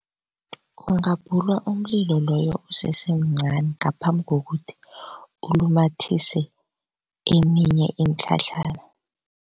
Kungabhulwa umlilo loyo usesemncani ngaphambi kokuthi ulumathise eminye imitlhatlhana.